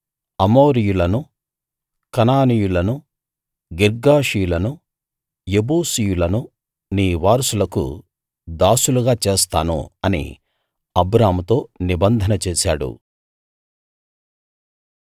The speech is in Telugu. అమోరీయులను కనానీయులను గిర్గాషీయులను యెబూసీయులను నీ వారసులకు దాసులుగా చేస్తాను అని అబ్రాముతో నిబంధన చేశాడు